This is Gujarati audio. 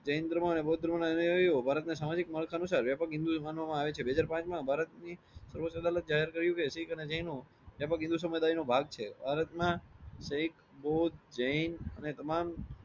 જૈન ધર્મ ના અને બૌદ્ઘ ધર્મ ના અનુનાયીઓ ભારત ને સામાજિક માળખા અનુસાર વ્યાપક હિન્દૂ તરીકે માનવામાં આવે છે. બેહજાર પાંચ માં ભારત ની સર્વોધ્ધ અદાલત એ જાહેર કર્યું કે શીખ અને જૈનો વ્યાપક હિન્દૂ સમુદાય નો ભાગ છે. ભારત ના શીખ બૌદ્ધ જૈન અને તમામ